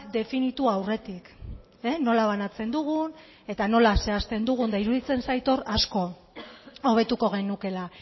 definitu aurretik nola banatzen dugun eta nola zehazten dugun eta iruditzen zait hor asko hobetuko genukeela